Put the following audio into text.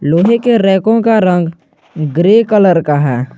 लोहे के रैको का रंग ग्रे कलर का है।